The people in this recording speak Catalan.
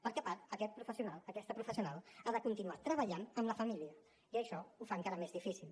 perquè a part aquest professional aquesta professional ha de continuar treballant amb la família i això ho fa encara més difícil